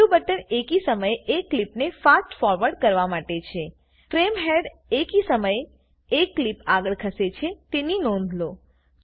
છઠ્ઠું બટન એકી સમયે એક ક્લીપને ફાસ્ટ ફોરવર્ડ કરવા માટે છે ફ્રેમ હેડ એકી સમયે એક ક્લીપ આગળ ખસે છે તેની નોંધ લો